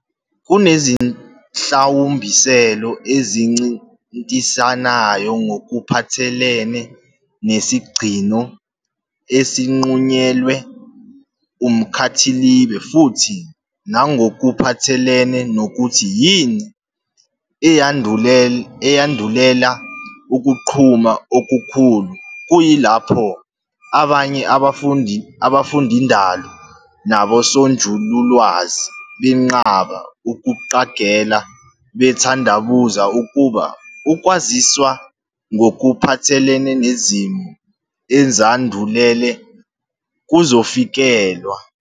Kunezihlawumbiselo ezincintisanayo ngokuphathelene nesigcino esinqunyelwe umkhathilibe futhi nangokuphathelene nokuthi yini eyandulela ukuqhuma okukhulu, kuyilapho abanye abafundindalo nabosonjululwazi benqaba ukuqagela, bethandabuza ukuba ukwaziswa ngokuphathelene nezimo ezandulele kuzofikelelwa.